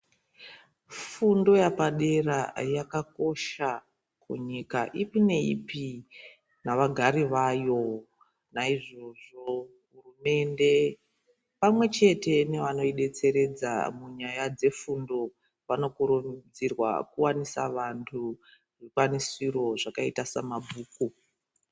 Fundo yapadera yaka kosha kunyika ipi ne ipi nava gari vayo naizvozvo hurumende pamwe chete nevano detseredza munyaya dze fundo vano kurudzirwa kuwanisa vantu zvikwanisiro zvakaita sa mabhuku.